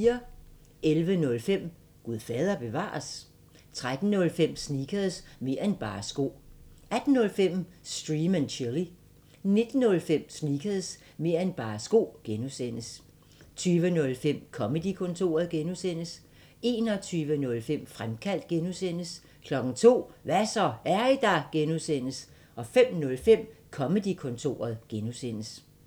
11:05: Gud fader bevares? 13:05: Sneakers – mer' end bare sko 18:05: Stream & Chill 19:05: Sneakers – mer' end bare sko (G) 20:05: Comedy-kontoret (G) 21:05: Fremkaldt (G) 02:00: Hva' så, er I der? (G) 05:05: Comedy-kontoret (G)